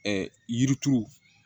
Ɛɛ yirituru